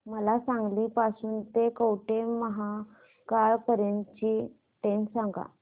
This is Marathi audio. मला सांगली पासून तर कवठेमहांकाळ पर्यंत ची ट्रेन सांगा